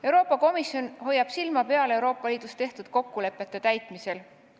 Euroopa Komisjon hoiab silma peal Euroopa Liidus tehtud kokkulepete täitmisel.